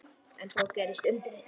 En þá gerðist undrið.